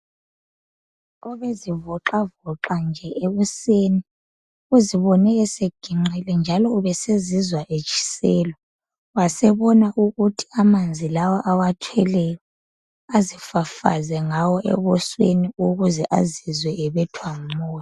Obezivoxavoxa nje ekuseni, uzibone eseginqile njalo ubesezizwa etshiselwa, wasebona ukuthi amanzi lawa awathweleyo, azifafaze ngawo ebusweni ukuze azizwe ebethwa ngumoya.